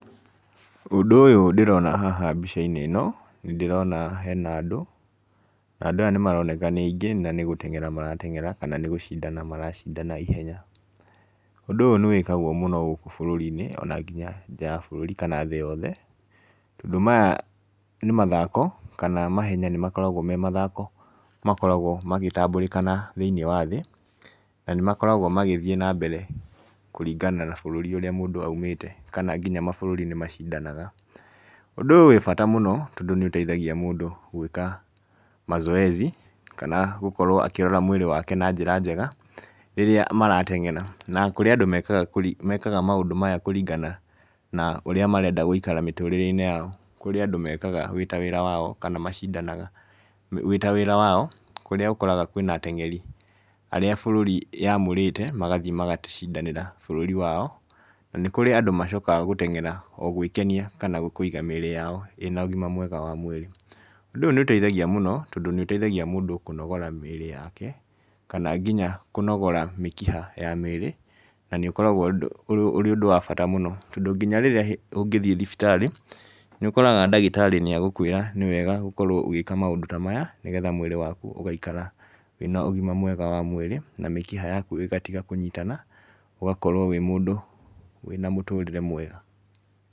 Ũndũ ũyũ ndĩrona haha mbica-inĩ ĩno, nĩ ndĩrona hena andũ, na andũ aya nĩ maroneka nĩ aingĩ, na nĩ gũteng'era marateng'era, kana nĩ gũcindana maracindana ihenya. Ũndũ ũyũ nĩ wĩkagwo mũno gũkũ bũrũri-inĩ, ona nginya nja ya bũrũri kana thĩ yothe. Tondũ maya nĩ mathako, kana mahenya nĩ makoragwo me mathako makoragwo magĩtambũrĩkana thĩiniĩ wa thĩ, na nĩ makoragwo magĩthiĩ na mbere kũringana na bũrũri ũrĩa mũndũ aumĩte. Kana nginya mabũrũri nĩ macindanaga. Ũndũ ũyũ wĩ bata mũno, tondũ nĩ ũteithagia mũndũ gwĩka mazoezi, kana gũkorwo akĩrora mwĩrĩ wake na njĩra njega, rĩrĩa marateng'ra. Na kũrĩ andũ mekaga mekaga maũndũ maya kũringana na ũrĩa marenda gũikara mĩtũrĩre-inĩ yao. Kũrĩ andũ mekaga wĩ ta wĩra wao, kana macindanaga wĩ ta wĩra wao, kũrĩa ũkoraga kwĩna ateng'eri arĩa bũrũri yamũrĩte, magathiĩ magacindanĩra bũrũri wao. Na nĩ kũrĩ andũ macokaga gũteng'era o gwĩkenia kana kũiga mĩĩrĩ yao ĩna ũgima mwega wa mwĩrĩ. Ũndũ ũyũ nĩ ũteithagia mũno, tondũ nĩ ũteithagia mũndũ kũnogora mĩĩrĩ yake, kana nginya kũnogora mĩkiha ya mĩĩr. Na nĩ ũkoragwo ũrĩ ũndũ wa bata mũno. Tondũ nginya rĩrĩa ũngĩthiĩ thibitarĩ, nĩ ũkoraga ndagĩtarĩ nĩ agũkũĩra nĩ wega gũkorwo ũgĩka maũndũ ta maya, nĩgetha mwĩrĩ waku ũgaikara wĩna ũgima mwega wa mwĩrĩ, na mĩkiha yaku ĩgatiga kũnyitana, ũgakorwo wĩ mũndũ wĩna mũtũrĩre mwega.